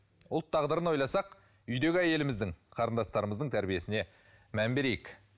ұлт тағдырын ойласақ үйдегі әйеліміздің қарындастарымыздың тәрбиесіне мән берейік